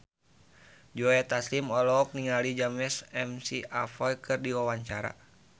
Joe Taslim olohok ningali James McAvoy keur diwawancara